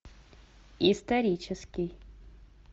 исторический